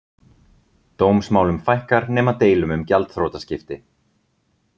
Dómsmálum fækkar nema deilum um gjaldþrotaskipti